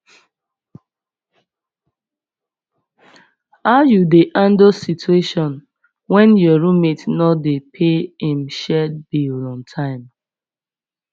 how you dey handle situation when your roommate no dey pay im shared bill on time